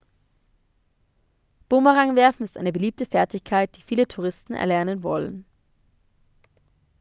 bumerangwerfen ist eine beliebte fertigkeit die viele touristen erlernen wollen